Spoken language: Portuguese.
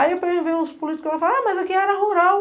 Aí eu venho ver uns políticos que falam, ah, mas aqui era área rural.